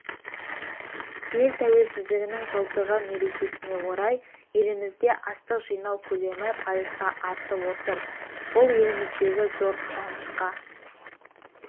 ел тәуелсіздігінің жылдығы мерекесіне орай елімізде астық жинау көлемі пайызға артып отыр бұл еліміздегі зор қуанышқа